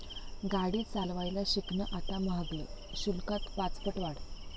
गाडी चालवायला शिकणं आता महागल, शुल्कात पाचपट वाढ